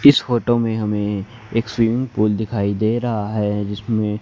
इस फोटो में हमें एक स्विमिंग पूल दिखाई दे रहा है जिसमें--